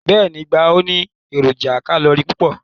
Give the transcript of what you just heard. Beeni, igba o ni eroja kalori pupo